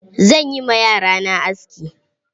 Zan yi ma yara na aski.